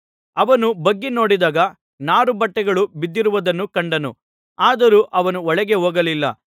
ಅವನು ಬಗ್ಗಿ ನೋಡಿದಾಗ ನಾರುಬಟ್ಟೆಗಳು ಬಿದ್ದಿರುವುದನ್ನು ಕಂಡನು ಆದರೂ ಅವನು ಒಳಗೆ ಹೋಗಲಿಲ್ಲ